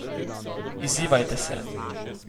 Izzivajte se!